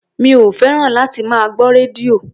Mi ò fẹ́ràn láti máa gbọ́ rédíò.